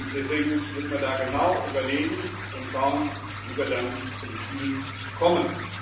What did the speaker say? Deswegen müssen wir da genau überlegen und schauen, wie wir dann zum Ziel kommen.